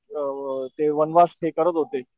अ ते वनवास हे करत होते.